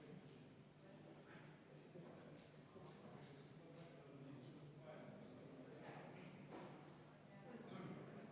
Ettepanekut toetab 36 Riigikogu liiget, vastu on 6, erapooletuid 0.